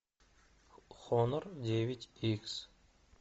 хонор девять икс